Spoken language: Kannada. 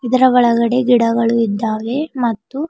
ಇದರ ಒಳಗಡೆ ಗಿಡಗಳು ಇದ್ದಾವೆ ಮತ್ತು--